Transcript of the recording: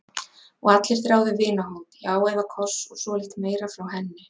Og allir þráðu vinahót, já eða koss og svolítið meira, frá henni.